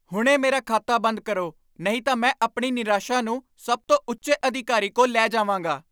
ਹੁਣੇ ਮੇਰਾ ਖਾਤਾ ਬੰਦ ਕਰੋ, ਨਹੀਂ ਤਾਂ ਮੈਂ ਆਪਣੀ ਨਿਰਾਸ਼ਾ ਨੂੰ ਸਭ ਤੋਂ ਉੱਚੇ ਅਧਿਕਾਰੀ ਕੋਲ ਲੈ ਜਾਵਾਂਗਾ।